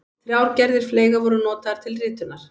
Þrjár gerðir fleyga voru notaðar til ritunar.